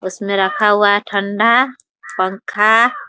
उसमे रखा हुआ है ठंडा पंखा --